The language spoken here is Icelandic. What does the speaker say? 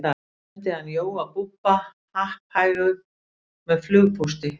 sendi hann jóa búbba happhæga með flugpósti